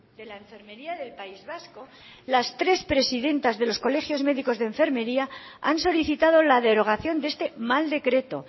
de la enfermería del país vasco las tres presidentas de los colegios médicos de enfermería han solicitado la derogación de este mal decreto